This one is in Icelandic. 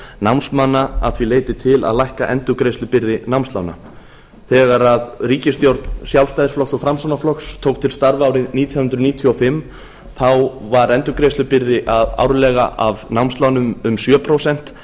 námsmanna að því leyti til að lækka endurgreiðslubyrði námslána þegar að ríkisstjórn sjálfstæðisflokks og framsóknarflokks tók til starfa árið nítján hundruð níutíu og fimm þá var endurgreiðslubyrði árlega af námslánum um sjö prósent